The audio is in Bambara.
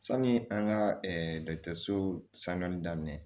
Sanni an ka dɔgɔtɔrɔso sanuyali daminɛ